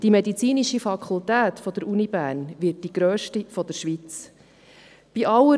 Die medizinische Fakultät der Universität Bern wird die grösste der Schweiz sein.